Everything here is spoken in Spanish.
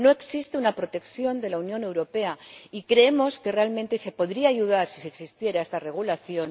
No existe una protección de la Unión Europea y creemos que realmente se podría ayudar si existiera esta regulación.